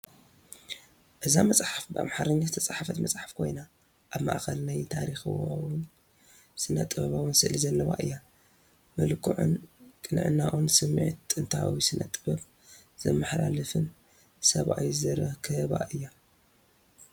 እዛ መጽሓፍ ብኣምሓርኛ ዝተጻሕፈት መጽሓፍ ኮይና ኣብ ማእኸል ናይ ታሪኻውን ስነ-ጥበባውን ስእሊ ዘለዋ እያ። መልክዑን ቅንዕናኡን ስምዒት ጥንታዊ ስነ-ጥበብ ዘመሓላልፍን ሰብኣይ ዝርከባ እያ።